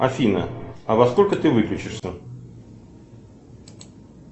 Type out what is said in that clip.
афина а во сколько ты выключишься